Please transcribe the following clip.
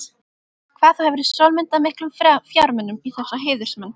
Hvað þú hefur sólundað miklum fjármunum í þessa heiðursmenn.